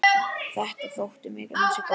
Þetta þótti mér ansi gott.